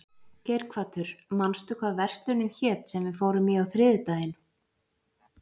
Geirhvatur, manstu hvað verslunin hét sem við fórum í á þriðjudaginn?